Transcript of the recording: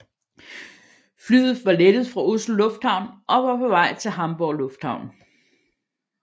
Flyet var var lettet fra Oslo Lufthavn og var på vej til Hamburg Lufthavn